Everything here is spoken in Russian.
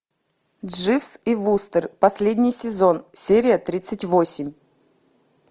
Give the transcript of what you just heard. дживс и вустер последний сезон серия тридцать восемь